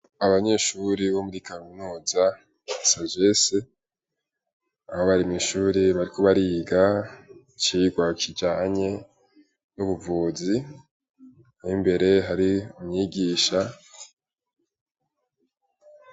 Abanyeshuri bo muri kaminuza ya sagesse, Aho barimw'ishuri bariko bariga icirwa kijanye n'ubuvuzi ,imbere hari umwigisha .